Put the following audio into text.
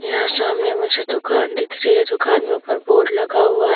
यहाँ सामने मुझे दुकान दिख रही है दुकान में ऊपर बोर्ड लगा हुआ है।